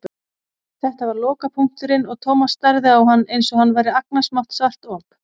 Þetta var lokapunkturinn og Thomas starði á hann einsog hann væri agnarsmátt svart op.